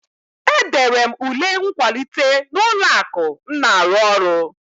E dere m ule maka nkwalite n'ụlọ akụ m na-arụ ọrụ.